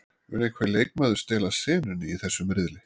Mun einhver leikmaður stela senunni í þessum riðli?